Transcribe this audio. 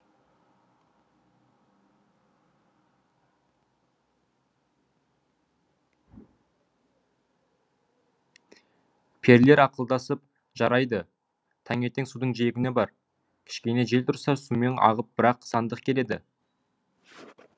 перілер ақылдасып жарайды таңертең судың жиегіне бар кішкене жел тұрса сумен ағып бір ақ сандық келеді